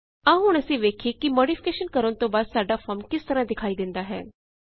ਆਓ ਹੁਣ ਅਸੀਂ ਵੇਖਿਏ ਕਿ ਮੌਡਿਫਿਕੇਸ਼ਨ ਕਰਣ ਤੋਂ ਬਾਦ ਸਾਡਾ ਫੋਰਮ ਕਿਸ ਤਰਹ ਦਿਖਾਈ ਦੇਂਦਾ ਹੈ